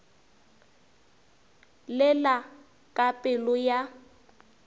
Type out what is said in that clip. le la ka pelo ya